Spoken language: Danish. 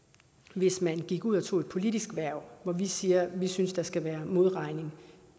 hvis man gik ud og tog et politisk hverv hvor vi siger at vi synes der skal være modregning